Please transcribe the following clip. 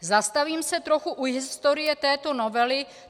Zastavím se trochu u historie této novely.